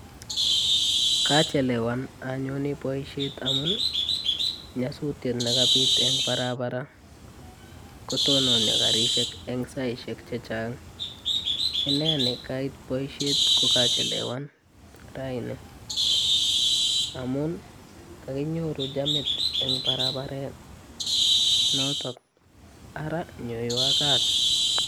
Kachelewan anyone boisiet amun nyasutiet negapit eng parapara, kotononio garisiek eng saisiek che chang. Inne ni kait boisiet ko kaachelewan raini amunii kaginyoru chamit eng paraparet notok. Ara nyoiwon kaat.